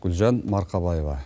гүлжан марқабаева